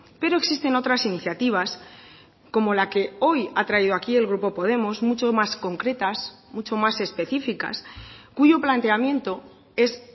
pero existen otras iniciativas como la que hoy ha traído aquí el grupo podemos mucho más concretas mucho más específicas cuyo planteamiento es